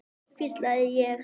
hvísla ég.